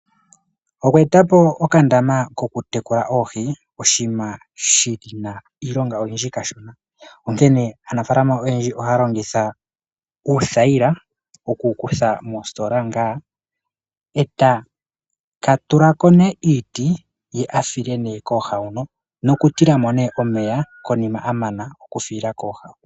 Okweetapo okandama kotekula oohi oshinima shina iilonga oyindji kashona onkene aanafalama oyendji ohaya longitha uuthayila okukutha moositola ngaa eta tula ko nee iiti